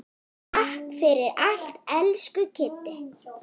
Takk fyrir allt, elsku Kiddi.